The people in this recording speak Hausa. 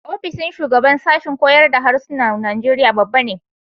Ofishin shugaban sashen koyar da Harsunan Najeriya babba ne.